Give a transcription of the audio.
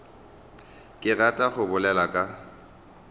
ke ratago go bolela ka